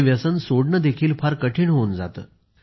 हे व्यसन सोडणेही फार कठीण होऊन जाते